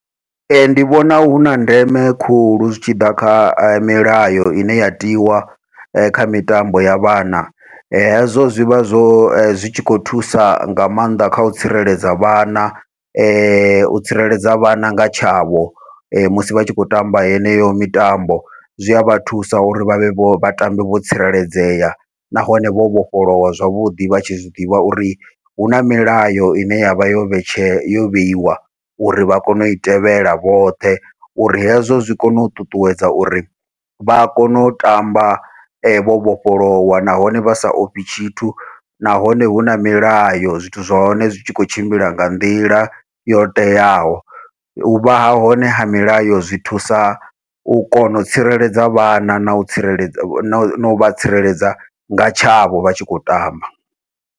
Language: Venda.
Ee ndi vhona huna ndeme khulu zwi tshi ḓa kha milayo ine ya tiwa kha mitambo ya vhana, hezwo zwivha zwo zwi tshi khou thusa nga maanḓa kha u tsireledza vhana u tsireledza vhana nga tshavho musi vha tshi khou tamba heneyo mitambo, zwi avha thusa uri vhavhe vho vhatambe vho tsireledzea, nahone vho vhofholowa zwavhuḓi vha tshi zwiḓivha uri huna milayo ine yavha yo vhetshela yo vheiwa uri vha kone ui tevhela vhoṱhe. Uri hezwo zwi kone u ṱuṱuwedza uri vha kone u tamba vho vhofholowa nahone vha sa ofhi tshithu, nahone huna milayo zwithu zwa hone zwi tshi khou tshimbila nga nḓila yo teaho, uvha hone ha milayo zwi thusa u kona u tsireledza vhana nau tsireledza nau vha tsireledza nga tshavho vha tshi khou tamba.